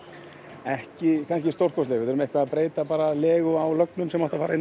ekki kannski stórkostleg við þurfum eitthvað að breyta legu á lögnum sem áttu að fara hérna